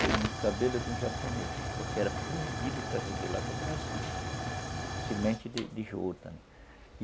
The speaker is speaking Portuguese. veio no cabelo de um japonês, porque era proibido trazer de lá para o Brasil, a semente de de juta.